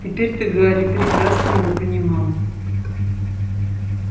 теперь то гарри прекрасно его понимал